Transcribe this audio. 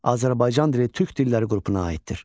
Azərbaycan dili türk dilləri qrupuna aiddir.